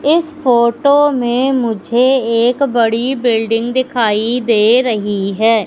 इस फोटो मे मुझे एक बड़ी बिल्डिंग दिखाई दे रही है।